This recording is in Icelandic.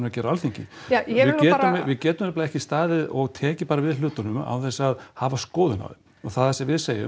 gera á Alþingi ja ég vil nú bara við getum nefnilega ekki staðið og tekið bara við hlutunum án þess að hafa skoðun á þeim og það sem við segjum